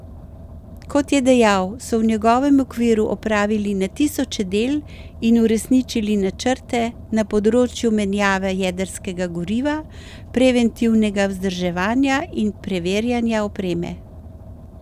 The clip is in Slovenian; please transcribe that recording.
Kot je dejal, so v njegovem okviru opravili na tisoče del in uresničili načrte na področju menjave jedrskega goriva, preventivnega vzdrževanja in preverjanja opreme.